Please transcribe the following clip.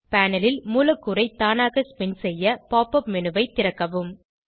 panel ல் மூலக்கூறை தானாக ஸ்பின் செய்ய pop உப் மேனு ஐ திறக்கவும்